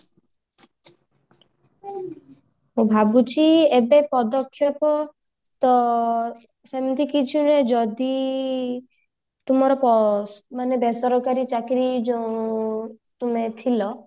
ମୁଁ ଭାବୁଛି ଏବେ ପଦକ୍ଷେପ ତ ସେମିତି କିଛି ନୁହେ ଯଦି ତୁମର ପସ ଯୋଉ ବେସରକାରୀ ଚାକିରି ଯୋଉ ତୁମେ ଥିଲ